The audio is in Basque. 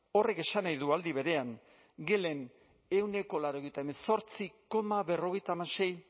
horrek esan nahi du aldi berean gelen ehuneko laurogeita hemezortzi koma berrogeita hamasei